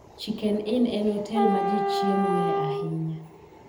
Chicken Inn en otel ma ji chiemoe ahinya